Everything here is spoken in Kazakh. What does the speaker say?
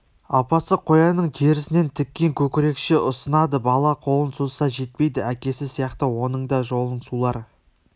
апасы қоянның терісінен тіккен көкірекше ұсынады бала қолын созса жетпейді әкесі сияқты оның да жолын сулар